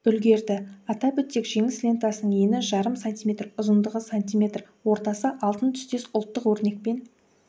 үлгерді атап өтсек жеңіс лентасының ені жарым сантиметр ұзындығы сантиметр ортасы алтын түстес ұлттық өрнекпен